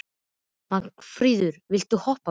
Magnfríður, viltu hoppa með mér?